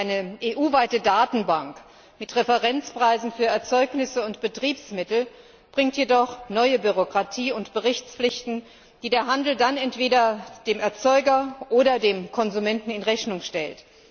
Eine EU weite Datenbank mit Referenzpreisen für Erzeugnisse und Betriebsmittel bringt jedoch neue Bürokratie und Berichtspflichten, die der Handel dann entweder dem Erzeuger oder dem Konsumenten in Rechnung stellt.